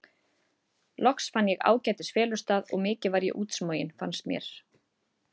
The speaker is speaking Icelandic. Loks fann ég ágætis felustað og mikið var ég útsmogin, fannst mér.